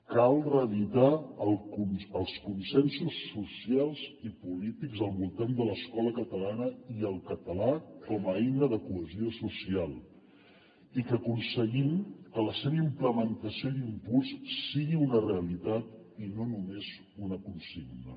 cal reeditar els consensos socials i polítics al voltant de l’escola catalana i el català com a eina de cohesió social i que aconseguim que la seva implementació i impuls siguin una realitat i no només una consigna